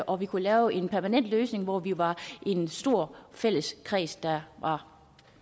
og at vi kunne lave en permanent løsning hvor vi var en stor fælles kreds der var